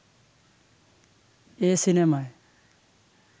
এ সিনেমায়